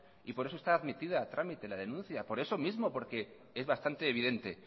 y por eso está admitida a tramite la denuncia por esos mismo porque es bastante evidente